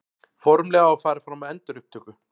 Formlega farið fram á endurupptöku